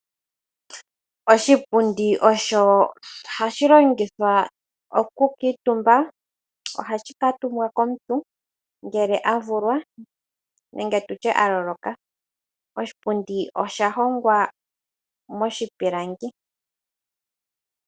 Oshipundi ohashi longithwa okukuutumba. Ohashi kuutumbwa komuntu ngele a vulwa nenge tutye a loloka. Oshipundi osha hongwa moshipilangi.